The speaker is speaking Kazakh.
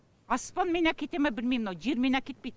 аспанменен әкете ма білмейм мынау жермен әкетпейді